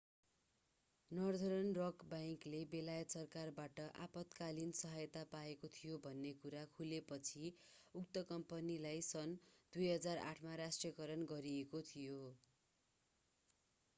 Northern Rock बैंकले बेलायत सरकारबाट आपतकालिन सहायता पाएको थियो भन्ने कुरा खुलेपछि उक्त कम्पनीलाई सन् 2008 मा राष्ट्रियकरण गरिएको थियो